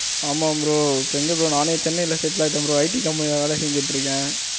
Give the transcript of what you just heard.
ஆமா bro எங்க bro நானே சென்னைல settle ஆகிட்டேன் bro IT company வேலை செஞ்சிடு இருக்கேன்.